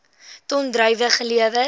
ton druiwe gelewer